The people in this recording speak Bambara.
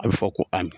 A bɛ fɔ ko a